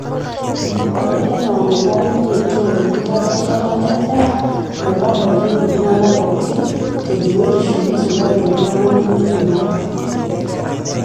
Ore enaa nenare neretoo enkitapashata endaa metabaiki iltung'ana pooki tebiotisho neisulaki iltung'ana lemeidim ate.